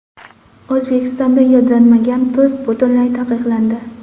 O‘zbekistonda yodlanmagan tuz butunlay taqiqlandi.